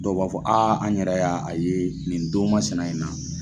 Dɔw b'a fɔ an yɛrɛ ya a ye nin don masina in na.